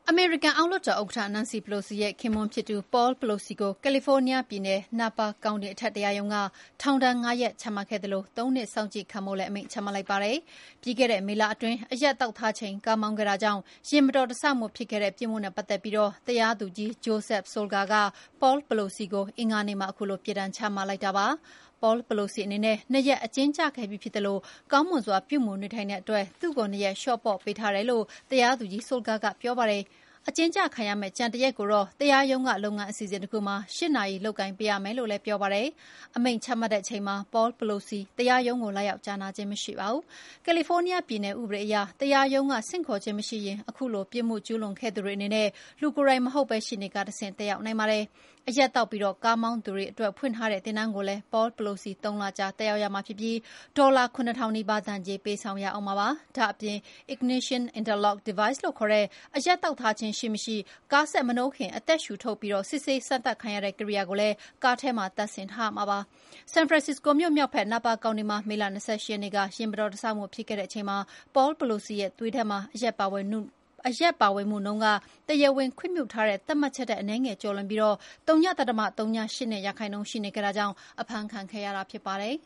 အမေရိကန် အောက်လွှတ်တော်ဥက္ကဌ နန်စီပလိုစီရဲ့ခင်ပွန်းဖြစ်သူ Paul Pelosi ကို ကယ်လီဖိုးနီးယားပြည်နယ် Napa ကောင်တီ အထက်တရားရုံးက ထောင်ဒဏ် ၅ရက်ချမှတ်ခဲ့သလို ၃ နှစ်စောင့်ကြည့်ခံဖို့လည်း အမိန့်ချမှတ်လိုက်ပါတယ်။ ပြီးခဲ့တဲ့ မေလအတွင်း အရက်သောက်ထားချိန် ကားမောင်းခဲ့တာကြောင့် ယာဉ်မတော်တဆဖြစ်ခဲ့တဲ့ပြစ်မှုနဲ့ ပတ်သက်ပြီး တရားသူကြီး Joseph Solga က Paul Pelosi ကို အင်္ဂါနေ့မှာ ခုလိုပြစ်ဒဏ်ချမှတ်လိုက်တာဖြစ်ပါတယ်။ Paul Pelosi အနေနဲ့ ၂ ရက် အကျဉ်းကျခဲ့ပြီးဖြစ်သလို ကောင်းမွန်စွာ ပြုမူနေထိုင်တဲ့အတွက် သူ့ကို ၂ ရက် လေ ျှာ့ပေါ့ပေးထားတယ်လို့ တရားသူကြီး Solga ကပြောပါတယ်။ အကျဉ်းကျခံရမဲ့ ကျန်တရက်ကိုတော့ တရားရုံး က လုပ်ငန်းအစီအစဉ်တခုမှာ ၈ နာရီ လုပ်ကိုင်ပေးရမယ်လို့လည်း ပြောပါတယ်။ အမိန့်ချမှတ်တဲ့အချိန်မှာ Paul Pelosi တရားရုံးကို လာရောက်ကြားနာခြင်းမရှိပါဘူး။ ကယ်လီဖိုးနီးယားပြည်နယ် ဥပဒေအရ တရားရုံးက ဆင့်ခေါ်ခြင်းမရှိရင် ခုလိုပြစ်မှုကျူးလွန်ခဲ့သူတွေအနေနဲ့ လူကိုယ်တိုင်မဟုတ်ပဲ ရှေ့နေတွေကတဆင့် တက်ရောက်နိုင်ပါတယ်။ အရက်သောက်ပြီးကားမောင်းသူတွေအတွက် ဖွင့်ထားတဲ့ သင်တန်းကိုလည်း Paul Pelosi ၃ လကြာတက်ရောက်ရမှာဖြစ်ပြီး ဒေါ်လာ ၇ ထောင်နီးပါး ဒဏ်ကြေး ပေးဆောင်ရမှာဖြစ်ပါတယ်။ ဒါ့အပြင် ignition interlock device လို့ခေါ်တဲ့ အရက်သောက်ထားခြင်းရှိမရှိ ကားစက်မနှိုးခင် အသက်ရှုထုတ်ပြီး စစ်ဆေးစမ်းသပ်ခံရတဲ့ ကိရိယာကိုလည်း ကားထဲမှာ တပ်ထားရမှာဖြစ်ပါတယ်။ ဆန်ဖရန်စစ္စကိုမြို့မြောက်ဖက် Napa ကောင်တီမှာ မေလ ၂၈ ရက်နေ့ ယာဉ်မတော်တဆမှုဖြစ်ခဲ့တဲ့အချိန်မှာ Paul Pelosi ရဲ့သွေးထဲမှာ အရက်ပါဝင်မှုနှုန်းက တရားဝင်ခွင့်ပြုထားတဲ့ သတ်မှတ်ချက်ထက် အနည်းငယ်ကျော်လွန်ပြီး ဝ.၀၈၂% ရှိနေခဲ့တာကြောင့် အဖမ်းခံခဲ့ရတာဖြစ်ပါတယ်